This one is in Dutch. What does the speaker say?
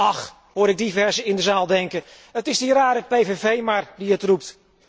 Ach, hoor ik diversen in de zaal denken, het is die rare PPV maar die het roept.